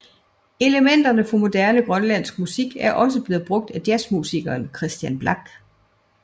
Elementer fra moderne grønlandsk musik er også blevet brugt af jazzmusikeren Kristian Blak